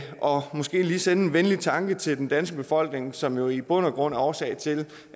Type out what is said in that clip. og måske lige sende en venlig tanke til den danske befolkning som jo i bund og grund er årsag til